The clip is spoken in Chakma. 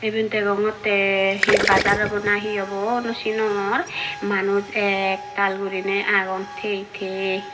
ebet degonotte hee bajar obo na hee obo no sinongor manuch ektaal guribe agon tey tey.